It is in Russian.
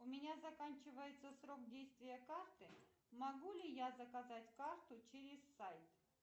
у меня заканчивается срок действия карты могу ли я заказать карту через сайт